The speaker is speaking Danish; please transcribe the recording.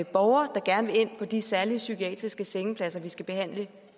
borger der gerne vil ind på de særlige psykiatriske sengepladser vi skal behandle